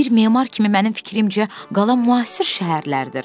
Bir memar kimi mənim fikrimcə qala müasir şəhərlərdir.